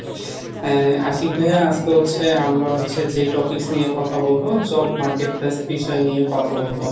এ আশিক ভাইয়া আজকে হচ্ছে আমরা হচ্ছে যে topics নিয়ে কথা বলবো Job marketplace বিষয় নিয়ে কথা বলবো।